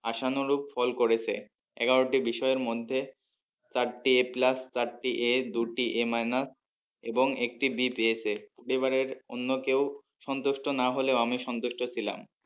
আশা ন্বরূপ ফল করেছে এগারোটি বিষয়ের মধ্যে চারটি a plus চারটি A দুটি A minus এবং একটি B পেয়েছে এবারের অন্য কেউ সন্তুষ্ট না হলেও আমি সন্তুষ্ট ছিলাম।